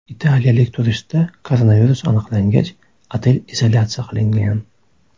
Italiyalik turistda koronavirus aniqlangach, otel izolyatsiya qilingan.